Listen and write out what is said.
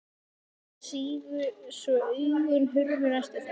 Mýsnar sigu svo augun hurfu næstum því.